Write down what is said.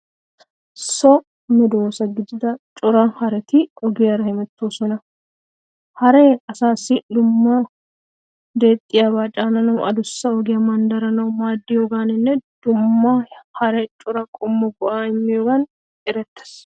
So medoosa gidida cora hareti ogiyara hemettoosona. Haree asaassi dumma deexxiyaba caananawu adussa ogiya manddaranawu maaddiyogaaninne dumma hara cora qommo go'a immiyogan erettees.